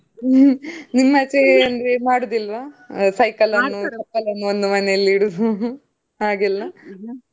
ನಿಮ್ಮ್ ಆಚೆ ಎಲ್ಲಾ ಮಾಡುದಿಲ್ವಾ, ಅಂದ್ರೆ cycle ಅನ್ನು ಪಕ್ಕದ್ ಅವ್ರ್ ಮನೇಲಿ ಇಡುದು . ಹಾಗೆಲ್ಲ?